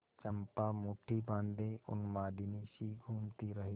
चंपा मुठ्ठी बाँधे उन्मादिनीसी घूमती रही